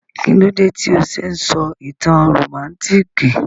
Kílódé tí o se n sọ ìtàn rómántikì?